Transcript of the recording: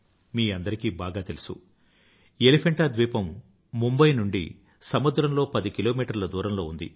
మీ అందరికీ బాగా తెలుసు ఎలిఫెంటా ద్వీపం ముంబయ్ నుండి సముద్రంలో పది కిలోమీటర్ల దూరంలో ఉంది